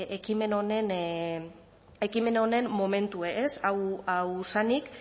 ekimen honen momentua hau zenik